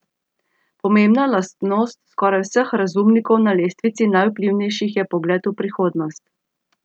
Pomembna lastnost skoraj vseh razumnikov na lestvici najvplivnejših je pogled v prihodnost.